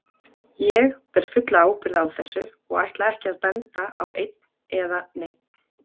Ég ber fulla ábyrgð á þessu og ætla ekki að benda á einn eða neinn.